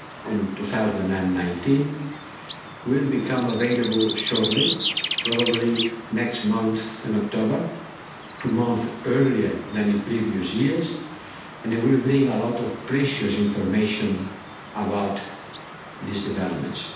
on 2019 will become available shortly, probably in October, two months earlier than in previous years, and it will bring a lot of precious information about these developments.